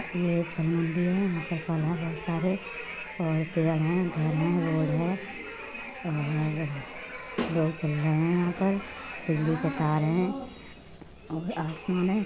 ये पेड़ है। इसमें फल लगे है। बहुत सारे और पेड़ है। घर है रोड है मेला बहुत चल रहा है | यहां पे बिजली के तार है और आसमान है।